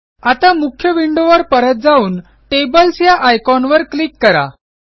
आता मुख्य विंडोवर परत जाऊन टेबल्स या आयकॉनवर क्लिक करा